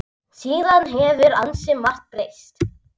Síðan hefur ansi margt breyst.